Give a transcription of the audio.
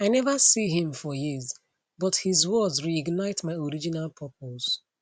i never see him for years but his words reignite my original purpose